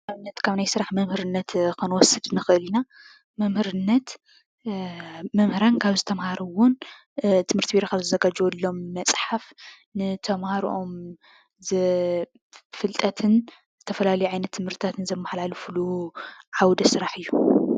ኣብነት ካብ ናይ ስራሕ መምህርነት ክንወስድ ነክእል ኢና፡፡ መመህርነት መምህራና ካብ ዝተማሃርዎነ ትምህርተ ቢሮ ካብ ዘዘጋጀዎሎም መፃሓፍ ንተማሃሮኦም ፍልጠትን ዝተፋላለየ ዓይነት ትምህርትዝማሓላልፉሉ ዓዉደ ስራሕ እዩ፡፡